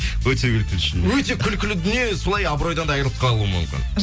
өте күлкілі шынымен өте күлкілі дүние солай абыройдан да айырылып қалуы мүмкін